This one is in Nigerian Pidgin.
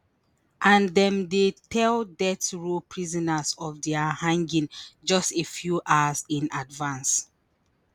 and dem dey tell death row prisoners of dia hanging just a few hours in advance